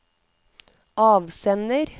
avsender